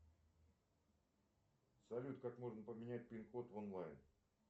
салют как можно поменять пин код онлайн